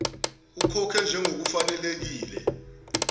ukhokhe njengoku fanelekile